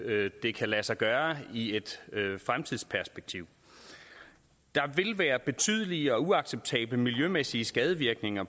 at det kan lade sig gøre i et fremtidsperspektiv der vil være betydelige og uacceptable miljømæssige skadevirkninger